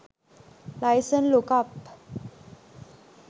license lookup